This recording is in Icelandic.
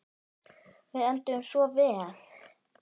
Við enduðum svo vel.